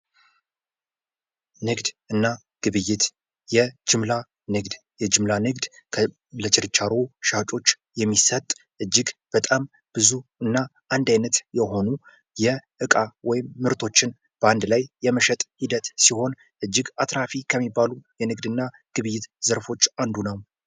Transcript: ንግድ እና ግብይት የጅምላ ንግድ፤ የጅምላ ንግድ ለችርቻሮ ሻጮች የሚሰጥ እጅግ በጣም ብዙ እና አንድ አይነት የሆኑ የእቃ ወይም ምርቶችን በአንድ ላይ የመሸጥ ሂደት ሲሆን እጅግ አትራፊክ ከሚባሉ የንግድና ግብይት ዘርፎች አንዱ ነው።